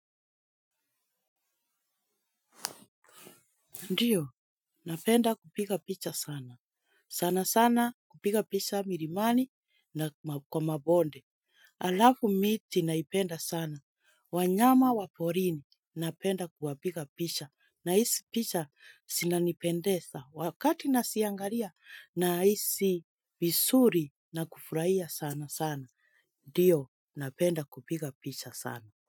Ndiyo, napenda kupiga picha sana. Sana sana kupiga picha mirimani na kwa mabonde. Alafu miti naipenda sana. Wanyama waporini, napenda kuwapiga picha. Na isi picha sinanipendesa wakati nasiangaria na isi bisuri na kufurahia sana sana. Ndiyo, napenda kupiga picha sana.